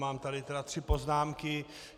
Mám tady tedy tři poznámky.